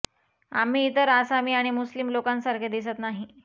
आम्ही इतर आसामी किंवा मुस्लीम लोकांसारखे दिसत नाही